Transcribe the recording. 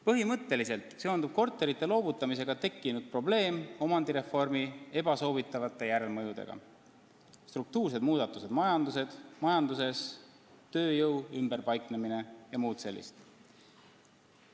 Põhimõtteliselt seondub korterite loovutamisega tekkinud probleem omandireformi ebasoovitavate järelmõjudega: struktuursed muudatused majanduses, tööjõu ümberpaiknemine ja muud sellist.